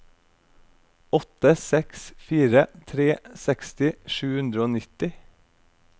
åtte seks fire tre seksti sju hundre og nitti